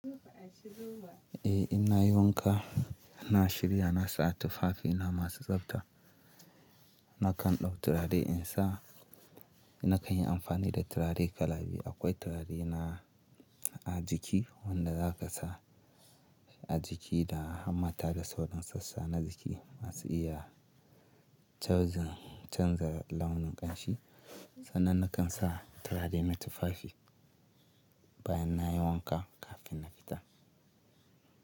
Eh in na yi wanka, na shirya, na sa tufafi na masu tsafta. Nakan ɗau turare in sa, na kan yi amfani da turare kala biyu. Akwai turare na a jiki wanda zaka sa a jiki da hammata da sauran sassa na jiki masu iya canza launin ƙamshi. Sannan nakan sa turare na tufafi bayan nayi wanka kafin na fita.